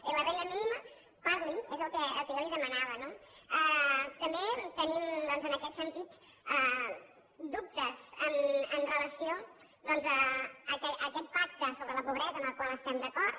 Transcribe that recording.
i la renda mínima parli’n és el que jo li demanava no també tenim doncs en aquest sentit dubtes amb relació a aquest pacte sobre la pobresa en el qual estem d’acord